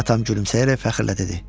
Atam gülümsəyərək fəxrlə dedi: